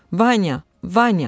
Vanya, Vanya!